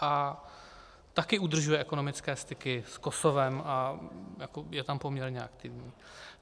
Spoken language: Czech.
A také udržuje ekonomické styky s Kosovem a je tam poměrně aktivní.